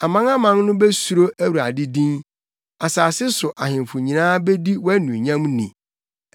Amanaman no besuro Awurade din; asase so ahemfo nyinaa bedi wʼanuonyam ni.